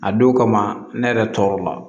A don kama ne yɛrɛ tɔɔrɔ la